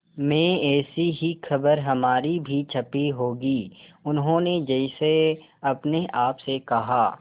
में ऐसी ही खबर हमारी भी छपी होगी उन्होंने जैसे अपने आप से कहा